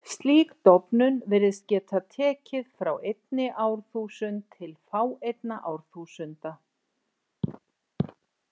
Slík dofnun virðist geta tekið frá einni árþúsund til fáeinna árþúsunda.